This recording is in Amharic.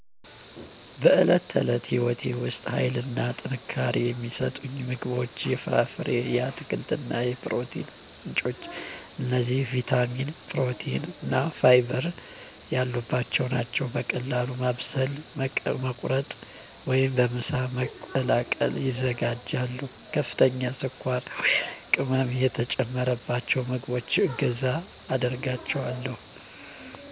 በዕለት ተዕለት ሕይወቴ ውስጥ ኃይልና ጥንካሬ የሚሰጡኝ ምግቦች የፍራፍሬ፣ የአትክልት የፕሮቲን ምንጮች እነዚህ ቪታሚን፣ ፕሮቲን እና ፋይበር ያሉባቸው ናቸው። በቀላሉ ማብሰል፣ መቁረጥ ወይም በምሳ መቀላቀል ይዘጋጃሉ። ከፍተኛ ስኳር ወይም ቅመም የተጨመሩባቸውን ምግቦች እገዛ አደርጋቸዋለሁ።